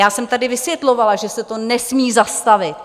Já jsem tady vysvětlovala, že se to nesmí zastavit.